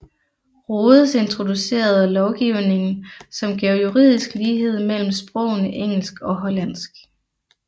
Rhodes introducerede lovgivning som gav juridisk lighed mellem sprogene engelsk og hollandsk